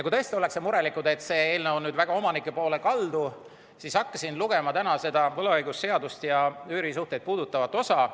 Kui tõesti ollakse mures, et see eelnõu on väga omanike poole kaldu, siis ma hakkasin täna väga hoolega lugema võlaõigusseaduse üürisuhteid puudutavat osa.